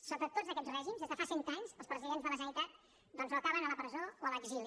sota tots aquest règims des de fa cent anys els presidents de la generalitat doncs o acaben a la presó o a l’exili